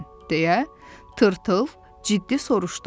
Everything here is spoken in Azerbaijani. deyə Tırtıl ciddi soruşdu.